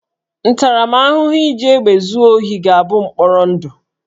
Ntaramahụhụ iji egbe zuo ohi ga-abụ mkpọrọ ndụ